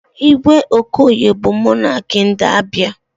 Igwe Okoye bụ monakị ndị Abịa.